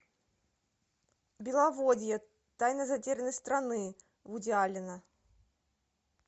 беловодье тайна затерянной страны вуди аллена